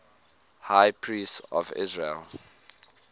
high priests of israel